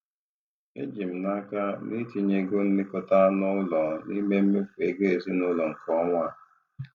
Eji m n'aka na itinye ego nlekọta anụ ụlọ n'ime mmefu ego ezinụlọ nke ọnwa a.